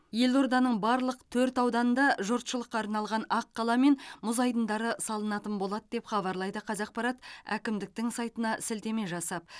елорданың барлық төрт ауданында жұртшылыққа арналған аққала мен мұз айдындары салынатын болады деп хабарлайды қавзақпарат әкімдіктің сайтына сілтеме жасап